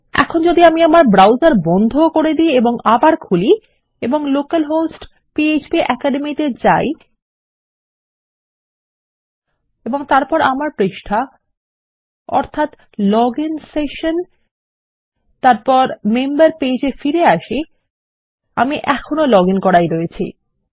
এখন যদি আমি ব্রাউসার বন্ধ করে দি এবং আবার খুলি এবং লোকাল হোস্ট পিএচপি অ্যাকাডেমি যাই এবং তারপর আমার পৃষ্ঠায় অর্থাত লজিন সেশন এবং আমার সদস্য পৃষ্ঠায় ফিরে আসি আমি এখন ও লগ ইন করাই রয়েছি